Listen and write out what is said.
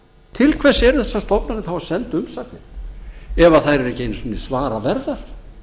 til hvers eru þessar stofnanir þá að senda umsagnir ef þær eru ekki einu sinni svara verðar